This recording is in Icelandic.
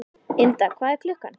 Ynda, hvað er klukkan?